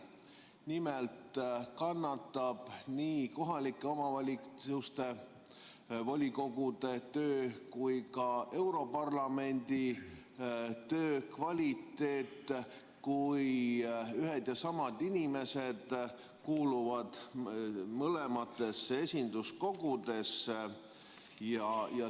Nimelt kannatab nii kohalike omavalitsuste volikogude töö kui ka europarlamendi töö kvaliteet, kui ühed ja samad inimesed kuuluvad mõlemasse esinduskogusse.